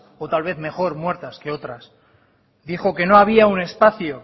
o tal vez mejor muertas que otras dijo que no había un espacio